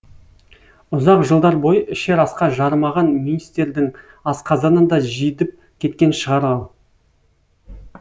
ұзақ жылдар бойы ішер асқа жарымаған мистердің асқазаны да жидіп кеткен шығар ау